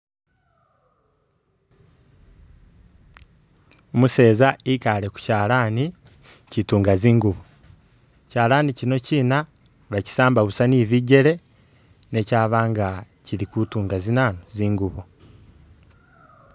Umuseeza ikaale ku kyalaani kituunga zinguubo, kyalaani kino chiina bakisamba busa ni bijele ne kyaaba kili kutuunga zinanu, zinguubo.